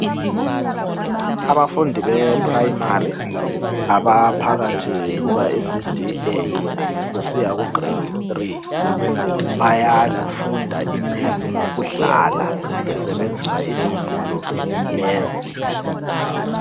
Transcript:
Abafundi be primary, abaphakathi kuka ECD A kusiya ku Grade 3, bayafunda iMaths ngokudlala besebnzisa inombolo lezi